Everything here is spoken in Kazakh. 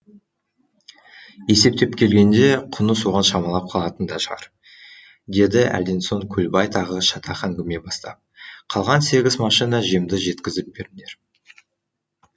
есептеп келгенде құны соған шамалап қалатын да шығар деді әлден соң көлбай тағы шатақ әңгіме бастап қалған сегіз машина жемді жеткізіп беріңдер